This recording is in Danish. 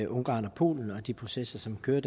ungarn og polen og de processer som kører